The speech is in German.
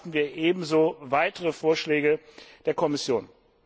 Hier erwarten wir ebenso weitere Vorschläge der Kommission.